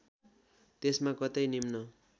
त्यसमा कतै निम्न